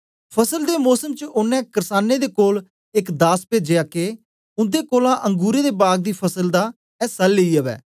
फ़सल दे मोसम च ओनें कर्सानें दे कोल एक दास पेजया के उन्दे कोलां अंगुरें दे बाग दी फसल दा ऐसा लेई अवै